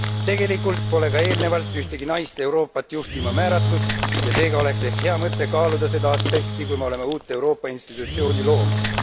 Tegelikult pole ka eelnevalt ühtegi naist Euroopat juhtima määratud ja seega oleks ehk hea mõte kaaluda seda aspekti, kui me oleme uut Euroopa institutsiooni loomas.